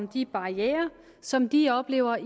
de barrierer som de oplever